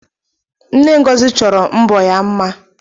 Nne Ngozi chọrọ mbọ ya mma